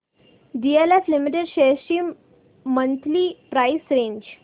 DLF limited shares ची monthly price range